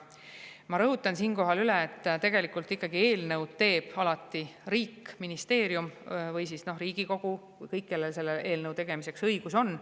Ma rõhutan siinkohal üle, et tegelikult ikkagi eelnõu teeb alati riik, ministeerium või Riigikogu – kõik, kellel eelnõu tegemiseks õigus on.